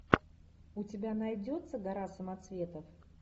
у тебя найдется гора самоцветов